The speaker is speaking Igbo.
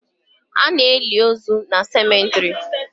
Ana eli ozu na cemetrị